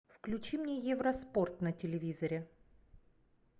включи мне евроспорт на телевизоре